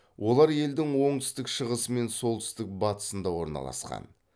олар елдің оңтүстік шығысы мен солтүстік бастысында орналасқан